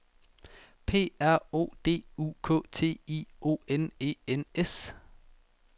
P R O D U K T I O N E N S